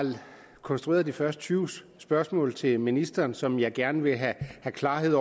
konstrueret de første tyve spørgsmål til ministeren som jeg gerne vil have et klart